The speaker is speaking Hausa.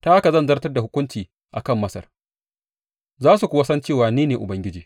Ta haka zan zartar da hukunci a kan Masar, za su kuwa san cewa ni ne Ubangiji.’